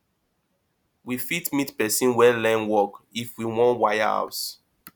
we fit meet person wey learn work if we wan wire house